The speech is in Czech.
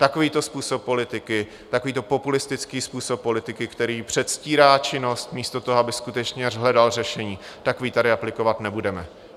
Takovýto působ politiky, takovýto populistický způsob politiky, který předstírá činnost místo toho, aby skutečně hledal řešení, takový tady aplikovat nebudeme.